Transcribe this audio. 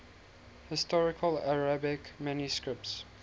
historical arabic manuscripts